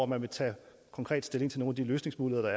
man ville tage konkret stilling til nogle af de løsningsmuligheder